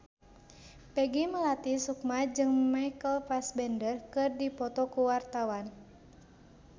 Peggy Melati Sukma jeung Michael Fassbender keur dipoto ku wartawan